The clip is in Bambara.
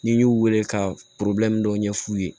N'i y'u wele ka dɔ ɲɛ f'u ye